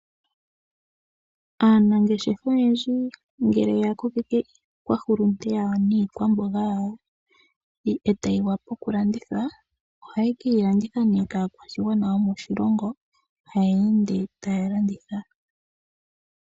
Aanangeshefa oyendji ngele yakokeke iikwahulunde yawo niikwamboga yawo e tayi wapa okulandithwa, ohaye ke yilanditha kaakwashigwana yomoshilongo, haya ende taya landitha.